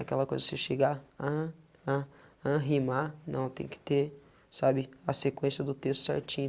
Aquela coisa de você chegar ah, ah, ah, rimar, não, tem que ter, sabe, a sequência do texto certinho.